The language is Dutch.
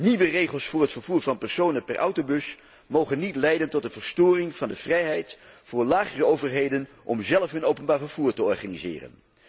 Nieuwe regels voor het vervoer van personen per autobus mogen niet leiden tot de verstoring van de vrijheid voor lagere overheden om zelf hun openbaar vervoer te organiseren.